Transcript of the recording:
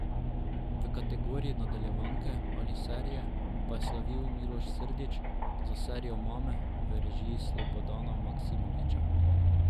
V kategoriji nadaljevanke ali serije pa je slavil Miloš Srdić za serijo Mame v režiji Slobodana Maksimovića.